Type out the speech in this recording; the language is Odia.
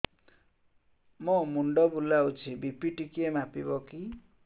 ମୋ ମୁଣ୍ଡ ବୁଲାଉଛି ବି.ପି ଟିକିଏ ମାପିବ କି